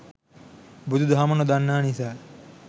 බුදු දහම නොදන්නා නිසා